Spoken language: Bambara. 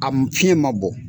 A fiɲɛ ma bɔ